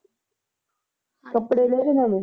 ਕੱਪੜੇ ਲਏ ਨੀ ਨਵੇਂ।